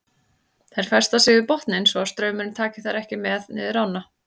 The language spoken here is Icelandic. Þær festa sig við botninn svo að straumurinn taki þær ekki með niður ána.